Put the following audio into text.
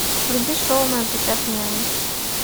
вруби шоу моя прекрасная няня